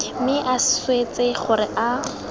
mme a swetse gore a